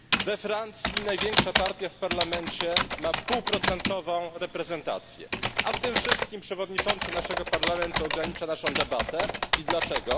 We Francji największa partia w parlamencie ma półprocentową reprezentację, a w tym wszystkim przewodniczący naszego parlamentu ogranicza naszą debatę i dlaczego?